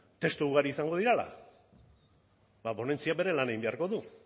testu ugari izango direla ba ponentzia bere lan egin beharko du